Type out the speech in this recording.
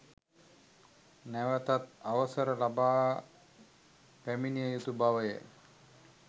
නැවතත් අවසර ලබා පැමිණිය යුතු බව ය.